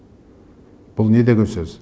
бұл не деген сөз